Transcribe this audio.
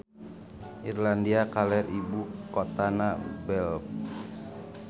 Irlandia Kaler ibu kotana Belfast.